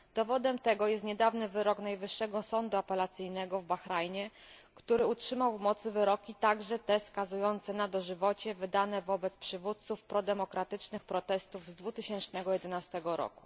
Dowodem tego jest niedawny wyrok najwyższego sądu apelacyjnego w Bahrajnie, który utrzymał w mocy wyroki, także te skazujące na dożywocie, wydane wobec przywódców prodemokratycznych protestów z 2011 r.